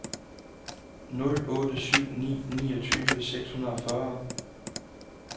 nul otte syv ni niogtyve seks hundrede og fyrre